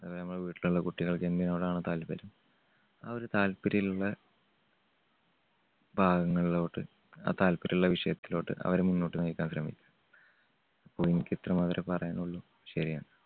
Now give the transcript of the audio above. അതേപോലെ വീട്ടിലുള്ള കുട്ടികൾക്ക് എന്തിനോടാണ് താല്പര്യം ആ ഒരു താല്പര്യള്ളെ ഭാഗങ്ങളിലോട്ട് ആ താല്പര്യമുള്ള വിഷയത്തിലോട്ട് അവരെ മുന്നോട്ട് നയിക്കാൻ ശ്രമിക്കുക. അപ്പോ എനിക്ക് ഇത്ര മാത്രമേ പറയാനുള്ളൂ. ശരി എന്നാൽ